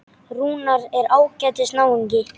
Rúnar er ágætis náungi.